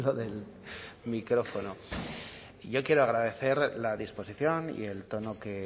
del micrófono yo quiero agradecer la disposición y el tono que